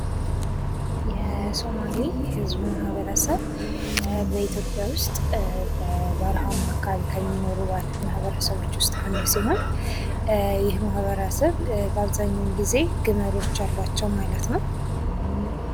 የሶማሌ ህዝብ ማህበረሰብ በኢትዮጵያ ውስጥ በበረሃማ አካባቢ ከሚኖሩ ማህበረሰቦች ውስጥ አንዱ ሲሆን ይህ ማህበረሰብ በአብዛኛው ጊዜ ግመሎች አላቸው ማሉነው።